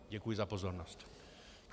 Děkuji za pozornost.